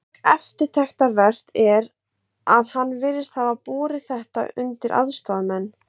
Mjög eftirtektarvert er, að hann virðist hafa borið þetta undir aðstoðarmenn